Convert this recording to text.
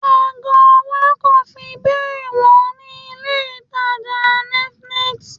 Ago ọwọ́ kò fi bẹ́ẹ̀ wọ́n ní ilé ìtàjà infinity.